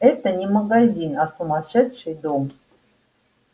это не магазин а сумасшедший дом